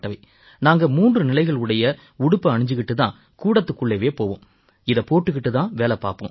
நாங்க மூன்று நிலைகள் உடைய உடுப்பை அணிஞ்சுக்கிட்டுத் தான் கூடத்துக்குள்ளவே போவோம் இதைப் போட்டுக்கிட்டுத் தான் வேலை பார்ப்போம்